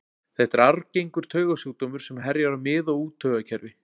Þetta er arfgengur taugasjúkdómur sem herjar á mið- og úttaugakerfi.